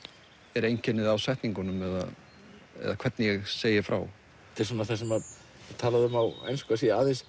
er einkennið á setningunum eða hvernig ég segi frá þetta er það sem er talað um á ensku að sé aðeins